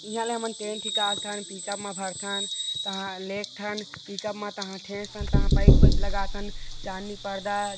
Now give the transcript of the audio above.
ईहा ले हमन टेंट हिकालथन पिकअप म भरथन तहा लेगथन पिकअप म तहा ठेसथन तहा पाइप - वाइप लगाथन चांदनी पर्दा--